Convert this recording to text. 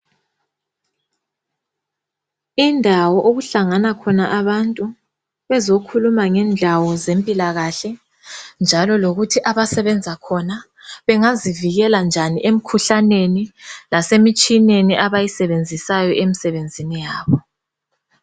Indawo okuhlangana khona abantu bezokhuluma ngendawo zempilakahle njalo lokuthi abasebenza khona bengazivikela njani emikhuhlaneni lasemtshineni abayisebenzisa emsebenzini yabo.